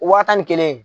Waa tan ni kelen